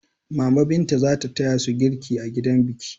Mama Binta za ta taya su girki a gidan biki.